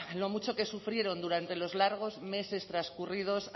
lo mucho que sufrieron durante los largos meses transcurridos